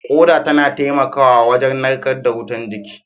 Ƙoda tana taimakawa wajen narkar da wutar jiki